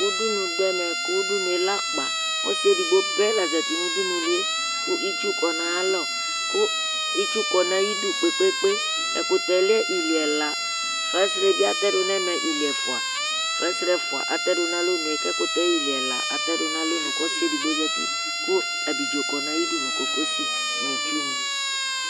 udunu do ɛmɛ kò udunu yɛ lɛ akpa ɔsi edigbo pɛ la zati no udunu li yɛ kò itsu kɔ n'ayi alɔ kò itsu kɔ n'ayi du kpe kpe kpe ɛkutɛ lɛ ili ɛla frase bi atɛ do n'ɛmɛ ili ɛfua frase ɛfua atɛ do n'alɔnu yɛ k'ɛkutɛ ili ɛla atɛ do n'alɔnu k'ɔsi edigbo zati kò abidzo kɔ n'ayidu no kokosi n'itsu ni